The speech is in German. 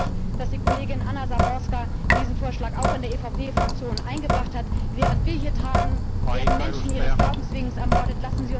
Ich freue mich, dass die Kollegin Anna Záborská diesen Vorschlag auch in der EVP Fraktion eingebracht hat. Während wir hier tagen, werden Menschen ihres Glaubens wegen ermordet.